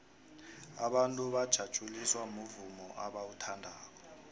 abantu bajatjuliswa muvumo abauthandako